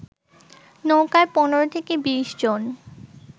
নৌকায় ১৫ থেকে ২০ জন